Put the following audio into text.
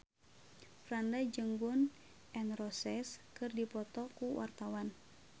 Franda jeung Gun N Roses keur dipoto ku wartawan